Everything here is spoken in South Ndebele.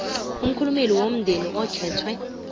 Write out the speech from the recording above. umkhulumeli womndeni okhethwe